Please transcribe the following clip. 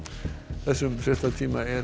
þessum fréttatíma er